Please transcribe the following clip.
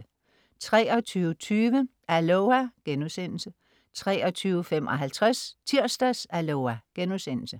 23.20 Aloha!* 23.55 Tirsdags-Aloha!* 00.25